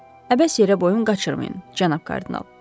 Əbəs yerə boyun qaçırmayın, cənab kardinal.